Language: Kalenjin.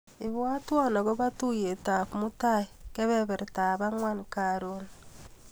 Ibwatwa akobo tuiyetap mutai kebebertap ang'wan karon.